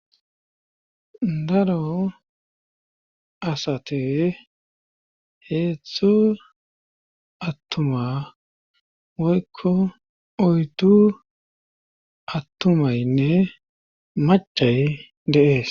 Daro asate heethzthu attuma woykko oytu attumaynne macay deees.